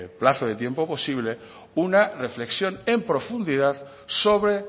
plazo de tiempo posible una reflexión en profundidad sobre